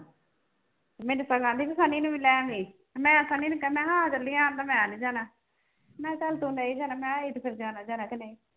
ਮੈਨੂੰ ਤਾਂ ਕਹਿੰਦੀ ਸੀ ਸਨੀ ਨੂੰ ਵੀ ਲੈ ਆਈ ਤੇ ਮੈਂ ਸਨੀ ਨੂੰ ਕਿਹਾ ਮੈਂ ਆ ਚੱਲੀਏ ਕਹਿੰਦਾ ਮੈਂ ਨੀ ਜਾਣਾ, ਮੈਂ ਚੱਲ ਤੂੰ ਨਹੀਂ ਜਾਣਾ ਮੈਂ ਤੇ ਫਿਰ ਜਾਣਾ ਜਾਣਾ ਕਿ ਨਹੀਂ।